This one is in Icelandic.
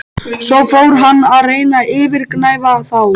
Svo fór hann að reyna að yfirgnæfa þá.